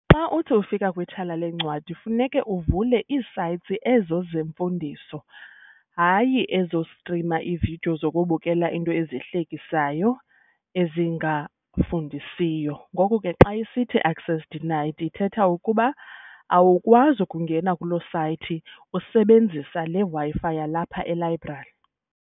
Xa uthi ufika kwithala lencwadi funeke uvule ii-sites ezo zemfundiso, hayi, ezostrima iividiyo zokubukela into ezihlekisayo ezingafundisiyo. Ngoko ke xa isithi access denied ithetha ukuba awukwazi ukungena kuloo sayithi usebenzisa le Wi-Fi yalapha elayibrari.